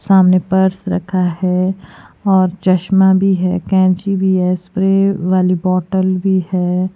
सामने पर्स रखा है और चश्मा भी है कैंची भी है स्प्रे वाली बॉटल भी है।